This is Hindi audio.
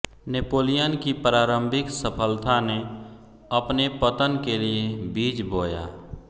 नेपोलियन की प्रारंभिक सफलता ने अपने पतन के लिए बीज बोया